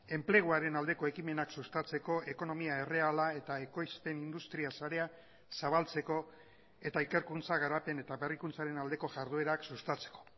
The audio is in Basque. enpleguaren aldeko ekimenak sustatzeko ekonomia erreala eta ekoizpen industria sarea zabaltzeko eta ikerkuntza garapen eta berrikuntzaren aldeko jarduerak sustatzeko